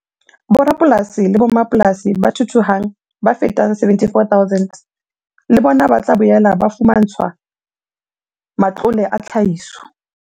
Borapolasi le mmapolasi ba thuthuhang ba fetang 74 000 le bona ba tla boela ba fumantshwa matlole a tlhahiso.